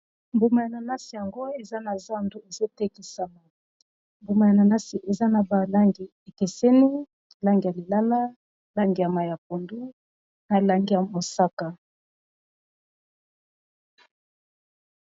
mbuma ya nanasi yango eza na zando ezotekisama mbuma ya nanasi eza na balangi ekeseni langi ya lilala langi ya mayi ya pondu na langi ya mosaka